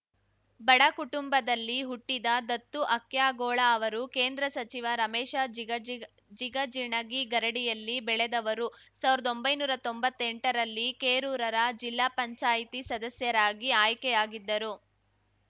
ಬಡ ಕುಟುಂಬದಲ್ಲಿ ಹುಟ್ಟಿದ ದತ್ತು ಹಕ್ಯಾಗೋಳ ಅವರು ಕೇಂದ್ರ ಸಚಿವ ರಮೇಶ ಜಿಗಜಿಗ ಜಿಗಜಿಣಗಿ ಗರಡಿಯಲ್ಲಿ ಬೆಳೆದವರು ಸಾವಿರ್ದೊಂಭೈನೂರಾ ತೊಂಬತ್ತೆಂಟರಲ್ಲಿ ಕೇರೂರ ಜಿಲ್ಲಾ ಪಂಚಾಯತಿ ಸದಸ್ಯರಾಗಿ ಆಯ್ಕೆಯಾಗಿದ್ದರು